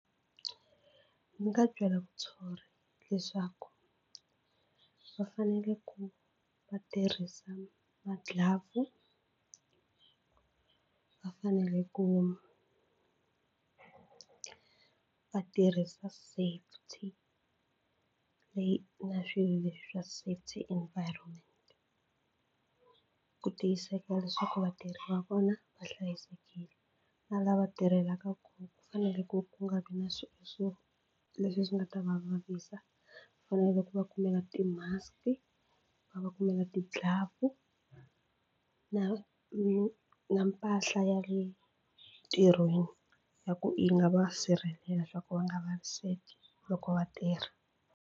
Ndzi nga byela muthori leswaku va fanele ku va tirhisa magilavhu va fanele ku va tirhisa safety leyi na swilo leswi swa safety environment ku tiyiseka leswaku vatirhi va vona va hlayisekile na lava tirhelaka kona ku fanele ku ku nga vi na so leswi swi nga ta va vavisa fanele ku va kumela ti-mask va va kumela ti-glove na na na mpahla ya le ntirhweni ya ku yi nga va sirhelela swa ku va nga vaviseki loko va tirha.